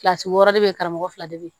Kilasi wɔɔrɔ de bɛ yen karamɔgɔ fila de bɛ yen